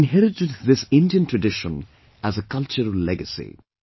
We have inherited this Indian tradition as a cultural legacy